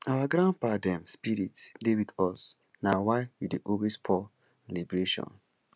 our grandpapa dem spirit dey wit us na why we dey always pour libation